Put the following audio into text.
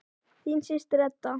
Þín systir, Edda.